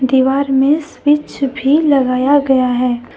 दीवार में स्विच भी लगाया गया है।